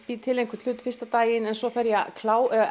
bý til einhvern hlut fyrsta daginn og svo þarf ég að